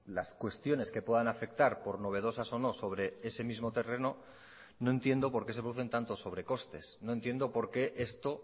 las cuestiones que puedan afectar por novedosas o no sobre ese mismo terreno no entiendo por qué se producen tantos sobrecostes no entiendo por qué esto